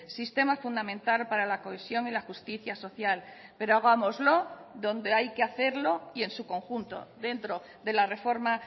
sistema fundamental para la cohesión y la justicia social pero hagámoslo donde hay que hacerlo y en su conjunto dentro de la reforma